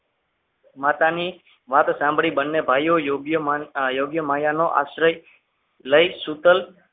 માતાની વાત સાંભળી બંને ભાઈઓ યોગ્ય માયાનો આશ્રય શીતલ